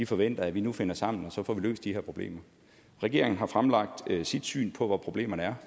forventer at vi nu finder sammen og får løst de her problemer regeringen har fremlagt sit syn på hvor problemerne er